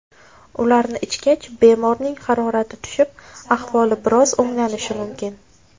Ularni ichgach, bemorning harorati tushib, ahvoli biroz o‘nglanishi mumkin.